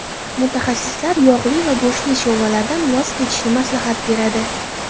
Mutaxassislar yog‘li va go‘shtli sho‘rvalardan voz kechishni maslahat beradi.